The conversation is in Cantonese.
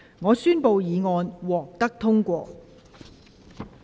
我宣布議案獲得通過。